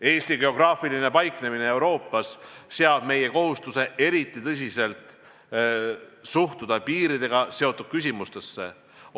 Eesti geograafiline paiknemine Euroopas seab meile kohustuse eriti tõsiselt suhtuda piiridega seotud küsimustesse.